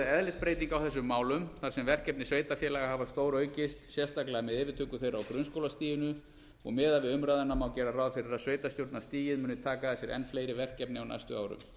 eðlisbreyting á þessum málum þar sem verkefni sveitarfélaga hafa stóraukist sérstaklega með yfirtöku þeirra á grunnskólastiginu og miðað við umræðuna má gera ráð fyrir að sveitarstjórnarstigið muni taka að sér enn fleiri verkefni á næstu árum